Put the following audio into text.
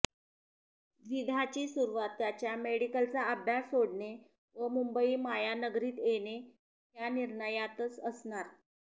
द्विधाची सुरुवात त्याच्या मेडिकलचा अभ्यास सोडणे व मुंबई मायानगरीत येणे ह्या निर्णयातच असणार